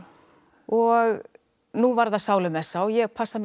og nú var það sálumessa og ég passa mig